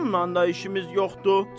Bununla da işimiz yoxdur.